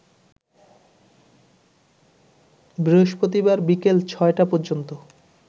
বৃহস্পতিবার বিকেল ৬টা পর্যন্ত